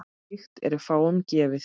Slíkt er fáum gefið.